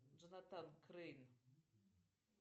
джонатан крейн